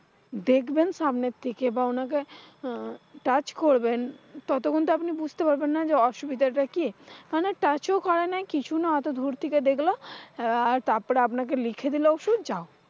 দেখবেন সামনের থেকে বা উনাকে, আহ touch করবেন ততক্ষন তো আপনি বুঝতে পারবেন না। যে অসুবিধাটা কি? মানে touch করে না কিছুই না অতদুর থেকে দেখলো। আহ তারপরে আপনাকে লিখে দিলে ওষুধ যাও।